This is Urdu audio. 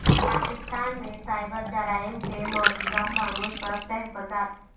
پاکستان میں سائبر جرائم کے مجوزہ قانون پر تحفظات